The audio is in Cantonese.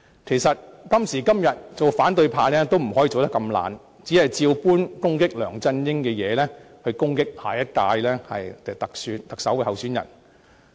其實，今時今日，反對派也不能這麼懶惰，只把攻擊梁振英的問題全數用作攻擊下任特首候選人。